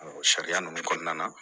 sariya ninnu kɔnɔna na